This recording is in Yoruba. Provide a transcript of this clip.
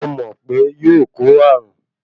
Mo mọ̀ pe yóò kó ààrùn.